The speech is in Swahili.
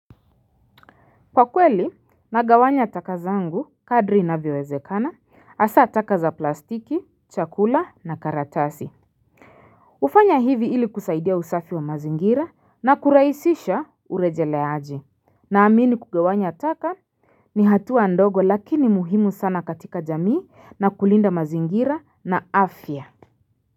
Kwa kweli nagawanya taka zangu kadri inavyowezekana hasa taka za plastiki, chakula na karatasi. Hufanya hivi ili kusaidia usafi wa mazingira na kurahisisha urejeleaji. Naamini kugawanya taka ni hatua ndogo lakini muhimu sana katika jamii na kulinda mazingira na afya.